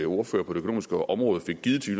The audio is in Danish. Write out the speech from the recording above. ordfører på det økonomiske område fik givet til